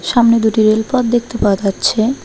সামনে দুটি রেলপথ দেখতে পাওয়া যাচ্ছে।